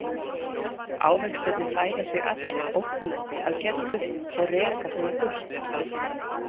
Ávextirnir færa sig allir ógnandi að Geddu og reka hana burtu.